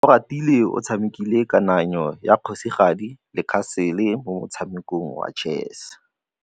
Oratile o tshamekile kananyô ya kgosigadi le khasêlê mo motshamekong wa chess.